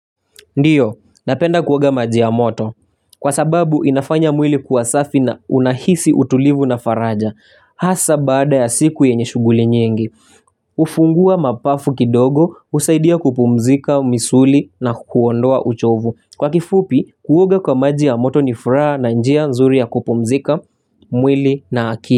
Ndio, napenda kuoga maji ya moto. Kwa sababu, inafanya mwili kuwa safi na unahisi utulivu na faraja. Hasa baada ya siku yenye shughuli nyingi. Hufungua mapafu kidogo, husaidia kupumzika, misuli na kuondoa uchovu. Kwa kifupi, kuoga kwa maji ya moto ni furaha na njia nzuri ya kupumzika, mwili na akili.